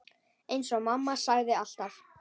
Eins og mamma sagði alltaf.